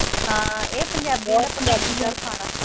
ਹਾਂ ਇਹ ਪੰਜਾਬੀਆਂ ਦਾ, ਪੰਜਾਬੀ ਖਾਣਾ।